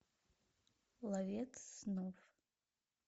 ловец снов